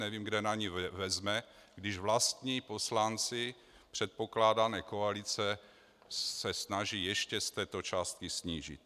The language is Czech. Nevím, kde na ni vezme, když vlastní poslanci předpokládané koalice se snaží ještě z této částky snížit.